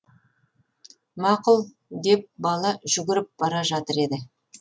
мақұл деп бала жүгіріп бара жатыр еді